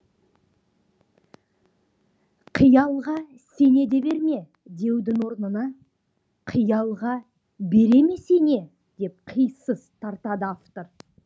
қиялға сене де берме деудің орнына қиялға бере ме сене деп қисыс тартады автор